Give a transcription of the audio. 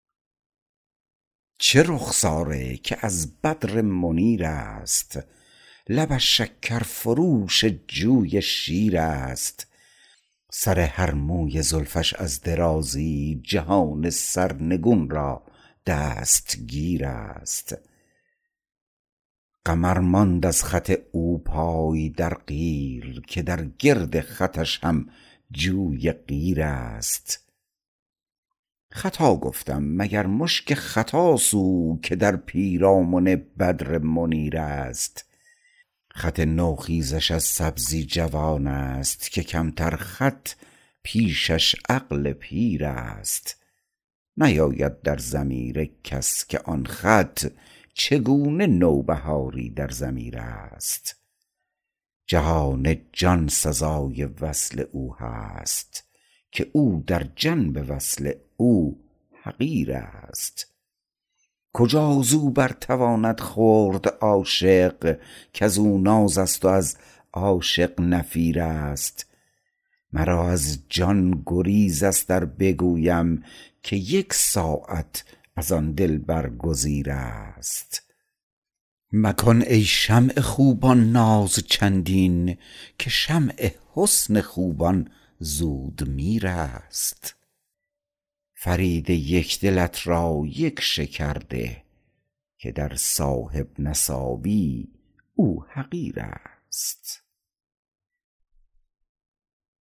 چه رخساره که از بدر منیر است لبش شکر فروش جوی شیر است سر هر موی زلفش از درازی جهان سرنگون را دستگیر است قمر ماند از خط او پای در قیر که در گرد خطش هم جوی قیر است خطا گفتم مگر مشک ختاست او که در پیرامن بدر منیر است خط نو خیزش از سبزی جوان است که کمتر خط پیشش عقل پیر است نیاید در ضمیر کس که آن خط چگونه نوبهاری در ضمیر است جهان جان سزای وصل او هست که او در جنب وصل او حقیر است کجا زو بر تواند خورد عاشق کزو ناز است و از عاشق نفیر است مرا از جان گریز است ار بگویم که یک ساعت از آن دلبر گزیر است مکن ای شمع خوبان ناز چندین که شمع حسن خوبان زود میر است فرید یک دلت را یک شکر ده که در صاحب نصابی او حقیر است